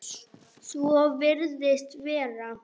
Svo virðist vera.